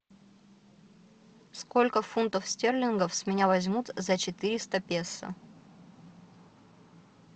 сколько фунтов стерлингов с меня возьмут за четыреста песо